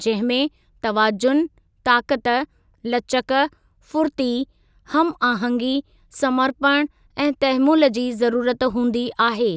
जंहिं में तवाज़ुन, ताक़ति, लचक, फुरती, हमआहंगी, समर्पणु ऐं तहमुल जी ज़रुरत हूंदी आहे।